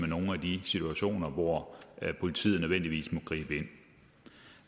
nogle af de situationer hvor politiet nødvendigvis må gribe ind